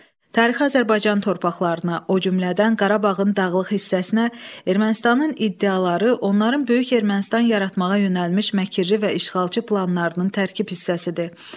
Tarixi Azərbaycan torpaqlarına, o cümlədən Qarabağın dağlıq hissəsinə Ermənistanın iddiaları, onların Böyük Ermənistan yaratmağa yönəlmiş məkiri və işğalçı planlarının tərkib hissəsidir.